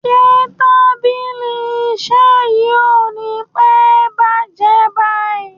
Ṣé tábìlì iṣẹ́ yí kò ní pẹ́ bàjé báyìí?